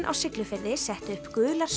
á Siglufirði settu upp gular